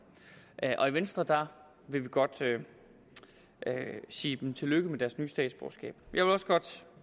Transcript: og i venstre vil vi godt sige dem tillykke med deres nye statsborgerskab vil også godt